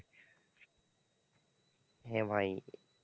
হ্যাঁ ভাই।